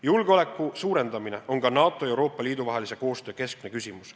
Julgeoleku suurendamine on ka NATO ja Euroopa Liidu vahelise koostöö keskne küsimus.